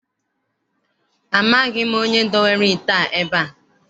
Amaghị m onye dowere ite a ebe a.